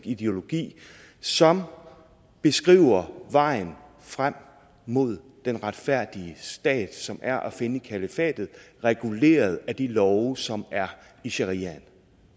ideologi som beskriver vejen frem mod den retfærdige stat som er at finde i kalifatet reguleret af de love som er i shariaen